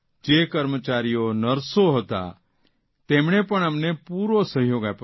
જે કર્મચારીઓ નર્સો હતા તેમણે પણ અમને પૂરો સહયોગ આપ્યો સર